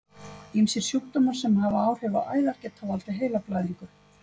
Ýmsir sjúkdómar sem hafa áhrif á æðar geta valdið heilablæðingu.